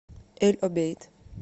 эль обейд